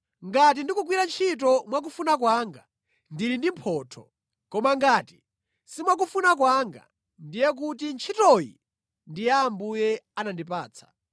Ngati ndikugwira ntchitoyi mwakufuna kwanga, ndili ndi mphotho; koma ngati si mwakufuna kwanga, ndiye kuti ntchitoyi ndi Ambuye anandipatsa.